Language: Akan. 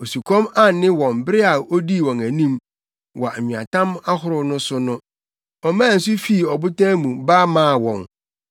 Osukɔm anne wɔn bere a odii wɔn anim, wɔ nweatam ahorow so no, ɔmaa nsu fii ɔbotan mu ba maa wɔn; ɔpaee ɔbotan no mu, maa nsu tue fii mu.